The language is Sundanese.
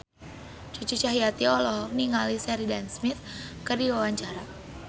Cucu Cahyati olohok ningali Sheridan Smith keur diwawancara